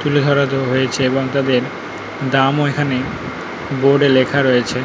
তুলে ধরা রয়েছে এবং তাদের দাম এখানে বোর্ড